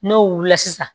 N'o wulila sisan